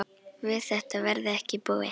Við þetta verði ekki búið.